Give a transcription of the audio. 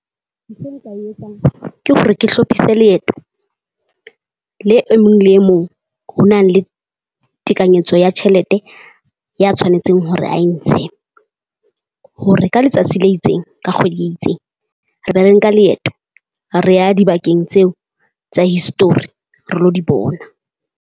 Ntho nka e etsang ke hore ke hlopise leeto le e mong le e mong ho na le tekanyetso ya tjhelete ya tshwanetseng hore ha e ntshe. Hore ka letsatsi le itseng ka kgwedi e itseng, re be re nka leeto re ya dibakeng tseo tsa history, re lo di bona.